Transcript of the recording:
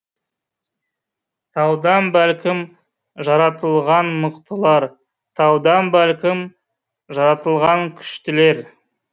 таудан бәлкім жаратылған мықтылар таудан бәлкім жаратылған күштілер